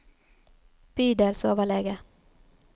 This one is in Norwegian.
bydelsoverlege